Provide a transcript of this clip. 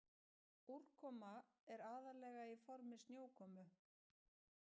Úrkoma er aðallega í formi snjókomu.